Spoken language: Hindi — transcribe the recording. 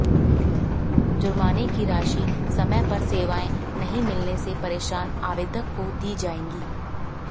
जुर्माने की राशि समय पर सेवाएँ नहीं मिलने से परेशान आवेदक को दी जायेगी